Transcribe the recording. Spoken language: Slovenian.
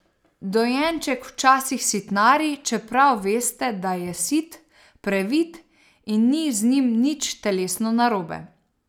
Dojenček včasih sitnari, čeprav veste, da je sit, previt in ni z njim nič telesno narobe.